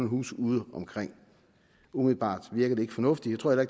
huse udeomkring umiddelbart virker det ikke fornuftigt og